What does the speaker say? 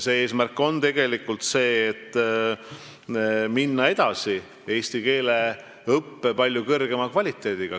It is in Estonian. See eesmärk on tegelikult minna edasi eesti keele õppe palju parema kvaliteediga.